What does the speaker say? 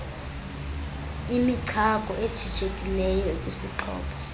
imichako ejijekileyo ekwisixhobo